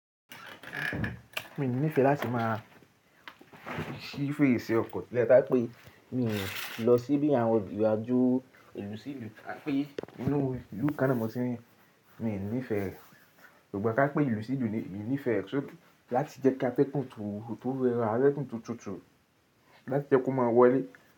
Mi ò nífẹẹ láti máa ṣí fèrèsé ọkọ̀ lẹ́, ta n pé mi ò lọ síbí àwọn ìrìnàjò ìlú sí ìlú, tá pé inú ìlú kanna mọ̀ tín, mi i nífẹẹ, ṣùgbọ́n ká pé ìlú sí ìlú ni, emi nífẹẹ. Láti jẹ́ kí ategun tó dara, atẹ́gùn to tutù láti jẹ́ kó máa wọlé.